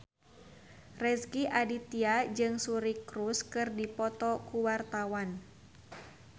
Rezky Aditya jeung Suri Cruise keur dipoto ku wartawan